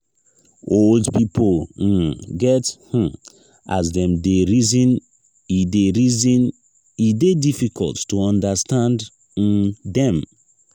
old pipo um get um as dem dey reason e dey reason e dey difficult to understand um dem.